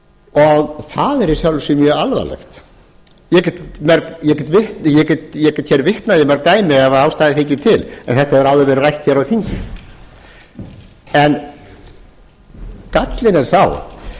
það er í sjálfu sér mjög alvarlegt ég get hér vitnað í mörg dæmi ef ástæða þykir til en þetta hefur áður verið rætt hér á þingi gallinn er sá